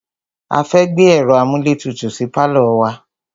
A fẹ́ gbé ẹ̀ro amúlétutù sí pálọ̀ wa.